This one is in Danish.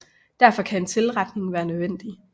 Derfor kan en tilretning være nødvendig